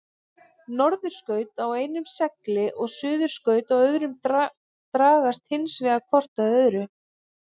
Norðurskaut á einum segli og suðurskaut á öðrum dragast hins vegar hvort að öðru.